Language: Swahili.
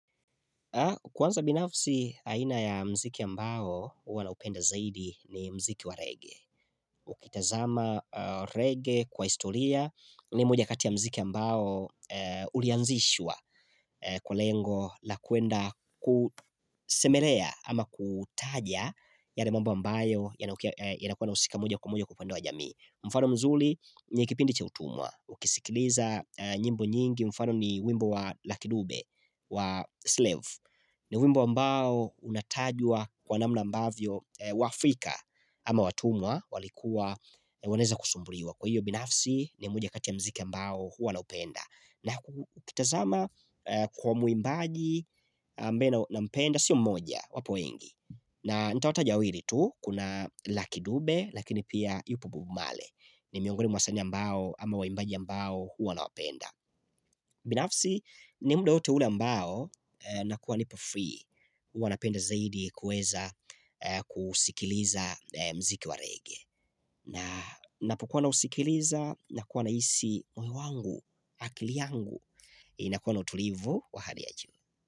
Kwanza binafsi aina ya mziki ya ambao huwanaupenda zaidi ni mziki wa rege. Ukitazama rege kwa historia ni moja kati ya mziki ya ambao ulianzishwa kwa lengo la kuenda kusemelea ama kutaja yale mamba mbayo yanakuwa na usika mmoja kwa mmoja kwa upande wa jamii. Mfano mzuli ni ikipindi cha utumwa. Ukisikiliza nyimbo nyingi mfano ni wimbo wa lakidube wa slave. Ni wimbo ambao unatajwa kwa namna ambavyo wa Afrika ama watumwa walikuwa waneza kusumburiwa. Kwa hiyo binafsi ni moja katia mziki ambao huwa na upenda. Na ukitazama kwa muimbaji ambeye na mpenda siyo mmoja wapo weingi. Na nitawataja wawili tu kuna lakidube lakini pia yupo bob male. Ni miongoni wasanii ambao ama waimbaji ambao huwa nawapenda. Binafsi ni mda wote ule ambao na kuwa nipo free huwanapenda zaidi kueza kusikiliza mziki wa rege na napokuwa nausikiliza na kuwa nahisi, moyo wangu akili yangu na kuwana utulivu wa hali ya juu.